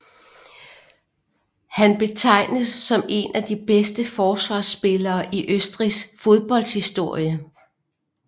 Han betegens som en af de bedste forsvarsspillere i Østrigs fodboldhistorie